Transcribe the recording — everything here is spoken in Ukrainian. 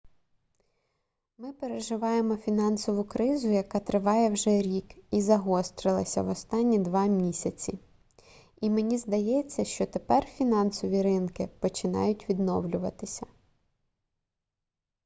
ми переживаємо фінансову кризу яка триває вже рік і загострилася в останні два місяці і мені здається що тепер фінансові ринки починають відновлюватися